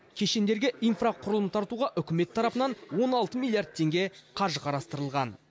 кешендерге инфрақұрылым тартуға үкімет тарапынан он алты миллиард теңге қаржы қарастырылған